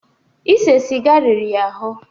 Ịsé sịga riri ya ahụ́.